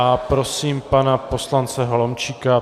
A prosím pana poslance Holomčíka.